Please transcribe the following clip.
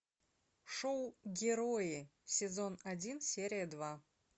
шоу герои сезон один серия два